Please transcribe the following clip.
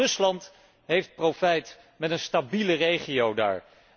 Want ook Rusland heeft profijt van een stabiele regio daar.